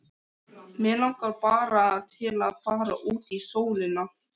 Mig langar bara til að fara út í sólina.